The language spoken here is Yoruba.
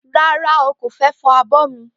Ràrá o,kófẹ fọ àbọ ni.